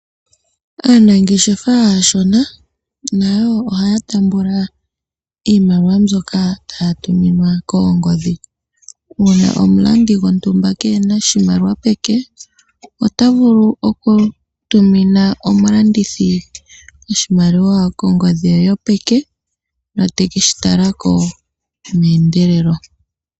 Aanangeshefa aashona nayo ohaya tambula iimaliwa mbyoka haya tuminwa kongoodhi. Ngele omulandi gwo ntumba keena oshimaliwa peke otavulu okutumina omulandithi oshimaliwa ko ngodhi ye yo peke etekeshi talako mee ndelelo.